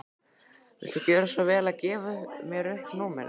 Viltu gjöra svo vel að gefa mér upp númerið þitt?